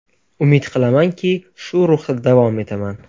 Umid qilamanki, shu ruhda davom etaman.